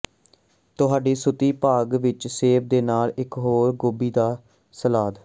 ਤੁਹਾਡੀ ਸੂਤੀ ਬਾਗ਼ ਵਿਚ ਸੇਬ ਦੇ ਨਾਲ ਇਕ ਹੋਰ ਗੋਭੀ ਦਾ ਸਲਾਦ